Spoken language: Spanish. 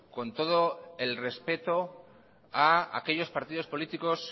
con todo el respeto a aquellos partidos políticos